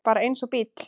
Bara eins og bíll.